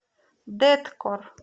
дэткор